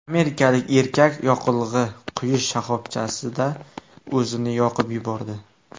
Amerikalik erkak yoqilg‘i quyish shoxobchasida o‘zini yoqib yubordi.